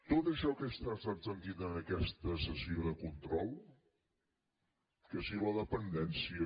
tot això que he estat sentint en aquesta sessió de control que si la dependència